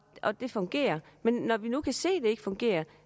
at det fungerer men når vi nu kan se det ikke fungerer